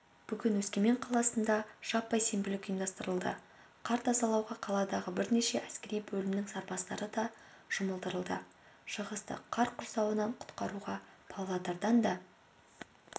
бүгін өскемен қаласында жаппай сенбілік ұйымдастырылды қар тазалауға қаладағы бірнеше әскери бөлімнің сарбаздары да жұмылдырылды шығысты қар құрсауынан құтқаруға павлодардан да